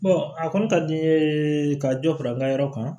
a kɔni ka di n ye ka dɔ fara n ka yɔrɔ kan